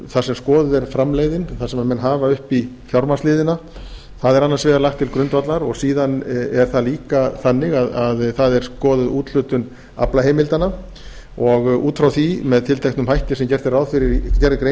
þar sem skoðuð er framleiðnin þar sem menn hafa uppi fjármagnsliðina það er annars vegar lagt til grundvallar og síðan er það líka þannig að það er skoðuð úthlutun aflaheimildanna og út frá því með tilteknum hætti sem gerð er grein